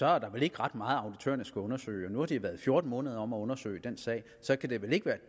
er der vel ikke ret meget som auditørerne skal undersøge nu har de været fjorten måneder om at undersøge den sag og så kan det vel ikke være